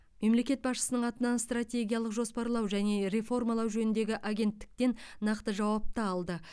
мемлекет басшысының атынан стратегиялық жоспарлау және реформалар жөніндегі агенттіктен нақты жауап та алды